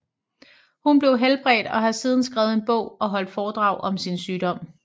Hun blev helbredt og har siden skrevet en bog og holdt foredrag om sin sygdom